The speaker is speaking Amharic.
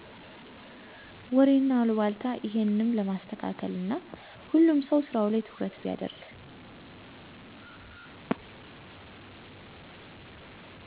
ወሬና አሉባልታ እሄንም ለማስተካለል እና ሁሉም ሰው ስራው ላይ ትኩረት ቢያርግ